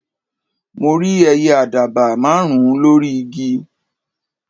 mo rí ẹyẹ àdàbà márùn ùn lórí igi